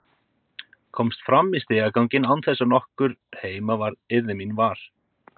Komst fram í stigaganginn án þess að nokkur heima yrði mín var.